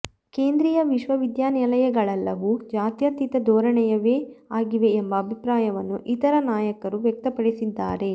ಕೇಂದ್ರೀಯ ವಿಶ್ವವಿದ್ಯಾಲಯಗಳೆಲ್ಲವೂ ಜಾತ್ಯತೀತ ಧೋರಣೆಯವೇ ಆಗಿವೆ ಎಂಬ ಅಭಿಪ್ರಾಯವನ್ನು ಇತರ ನಾಯಕರೂ ವ್ಯಕ್ತಪಡಿಸಿದ್ದಾರೆ